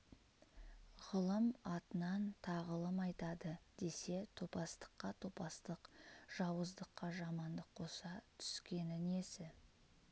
ғылым атынан тағылым айтады десе топастыққа топастық жауыздыққа жамандық қоса түскені несі